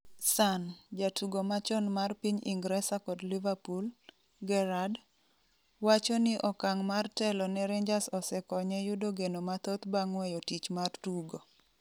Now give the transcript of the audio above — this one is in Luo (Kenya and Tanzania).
(Sun) Jatugo machon mar piny Ingresa kod Liverpool, Gerrard, wacho ni okang' mar telo ne Rangers osekonye yudo geno mathoth bang' weyo tich mar tugo.